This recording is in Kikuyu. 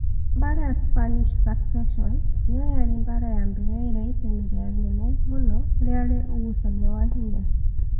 Mbaara ya Spanish Succession nĩyo yarĩ mbaara ya mbere ĩrĩa itemi rĩayo inene mũno riarĩ ũgucania wa hinya.